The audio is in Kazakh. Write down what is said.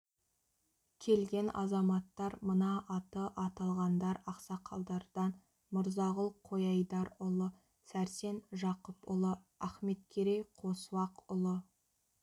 келген азаматтар мына аты аталғандар ақсақалдардан мырзағұл қойайдарұлы сәрсен жақыпұлы ахметкерей қосуақұлы